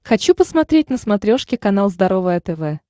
хочу посмотреть на смотрешке канал здоровое тв